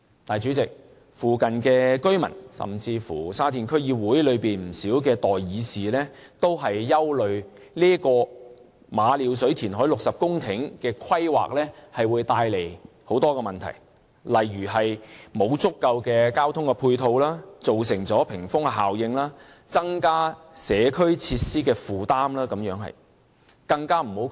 但是，主席，附近居民，甚至是沙田區議會內不少代議士均擔心，馬料水填海60公頃的規劃會帶來很多問題，例如沒有足夠的交通配套、造成屏風效應、增加社區設施的負擔等。